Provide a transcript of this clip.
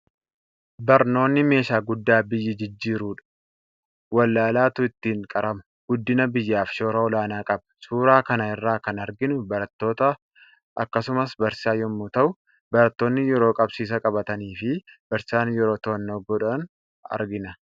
Barnootni meeshaa guddaa biyya jijjiirudha. Wallaalaatu ittiin qarama. Guddina biyyaaf shoora olaanaa qaba. Suuraa kana irraa kan arginu barattoota akkasumas barsiisaa yommuu ta'u, barattoonni yeroo qabsiisa qabatanii fi barsiisaan yeroo to'annoo godhan argina.